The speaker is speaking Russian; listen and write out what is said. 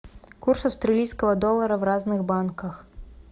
курс австралийского доллара в разных банках